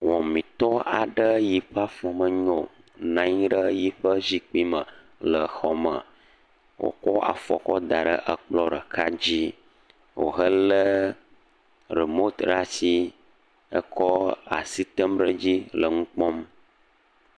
Wɔmetɔ aɖe yi ƒe afɔ menyo, nɔ anyi ɖe yiƒe zikpui me le xɔ me wòkɔ afɔ kɔ da ɖe ekplɔ ɖeka dzi, wòhelé rimot ɖe asi he kɔ asi tem ɖe dzi le nu kpɔm.